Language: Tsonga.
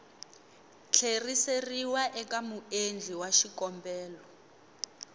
tlheriseriwa eka muendli wa xikombelo